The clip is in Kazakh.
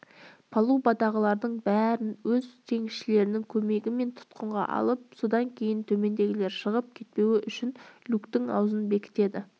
палубадағылардың бәрін өз теңізшілерінің көмегімен тұтқынға алып содан кейін төмендегілер шығып кетпеуі үшін люктің аузын бекітеді